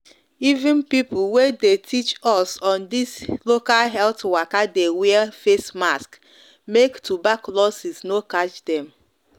even people wey de teach us on this local health waka de wear face mask make turbaculosis no catch dem